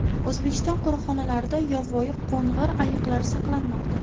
O‘zbekiston qo‘riqxonalarida yovvoyi qo‘ng‘ir ayiqlar saqlanmoqda.